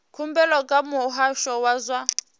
khumbelo kha muhasho wa zwa